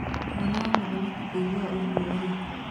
Mwana wa mũthamaki kũigwa ũgwo rĩ